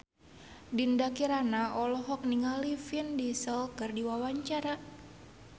Dinda Kirana olohok ningali Vin Diesel keur diwawancara